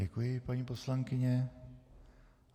Děkuji, paní poslankyně.